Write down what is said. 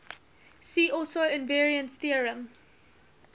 see also invariance theorem